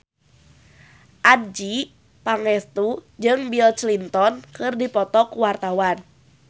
Adjie Pangestu jeung Bill Clinton keur dipoto ku wartawan